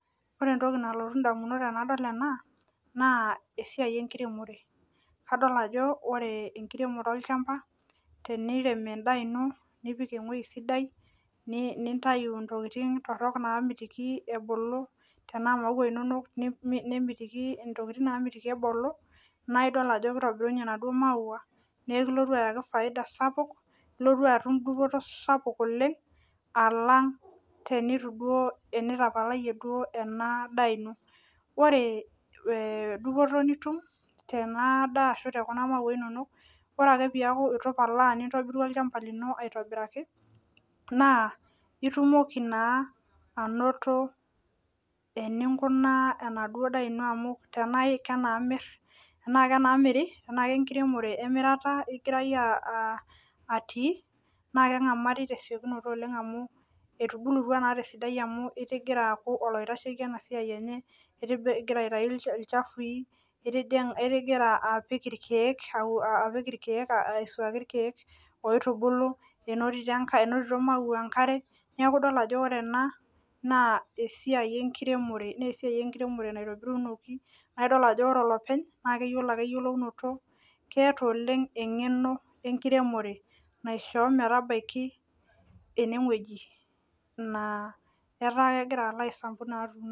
Ore entoki nalotu damunot tenadol ena naa esiai enkiremore. Ore tenirem olchampa naa, tenirem edaa ino nipik ewueji sidai, nintayu ntokitin torok naamitikii ebuku, tenaa imaua inonok, nemiti, intokitin namitiki ebulu, naa idol ajo, kitobirunye inaduoo maua, naa ekilotu aayaki faida sapuk, ilotu atum dupoto sapuk oleng. Aalang tenitapalayie duo ena daa ino pee dupoto nit tena daa ashu tekuna maua inonok. Ore ake peeku, eitu ipalaa nintobiru olchampa lino aitobiraki, nss itumoki naa anoto eninkunaa enaduo daa ino amu enimir, tenaa lenkiremore emirata igira iyie atii naa, kengamari tesiokinoto Oleng amu etubulutua naa tesiadai amu igira aitayu ilchafui, itigira aisuaki ilkeek oitubulu menotito imaua enkare keeta oleng enego enkiremore.